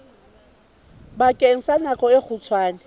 bakeng sa nako e kgutshwane